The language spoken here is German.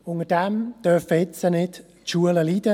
Darunter dürfen nun nicht die Schulen leiden.